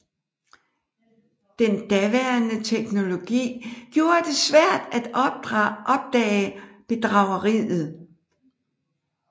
Den daværende teknologi gjorde det svært at opdage bedrageriet